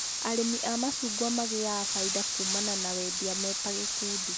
Arĩmi a macungwa magĩaga bainda kumana na wendia meta ikundi